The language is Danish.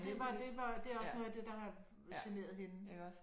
Det var det var det er også noget af det der har generet hende